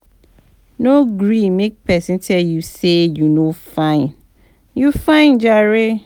No gree make pesin tell you sey you no fine, you fine jare